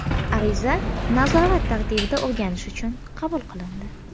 Ariza nazorat tartibida o‘rganish uchun qabul qilindi.